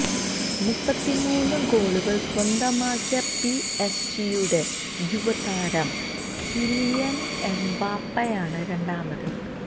മുപ്പത്തിമൂന്നുഗോളുകള് സ്വന്തമാക്കിയ P S ജിയുടെ യുവതാരം കിലിയൻ എംബാപ്പയാണ് രണ്ടാമത്